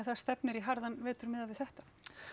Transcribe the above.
það stefnir í harðann vetur miðað við þetta